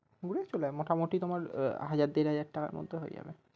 পড়েছিল মোটামুটি তোমার হাজার দেড় হাজার টাকার মধ্যে হয়ে যাবে।